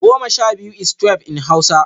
(ten) twelve is twelve in Hausa